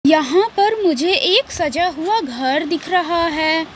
यहां पर मुझे एक सजा हुआ घर दिख रहा है।